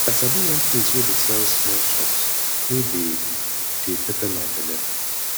i sabi one place wey dey sell small chops wey dey dey pepper my belle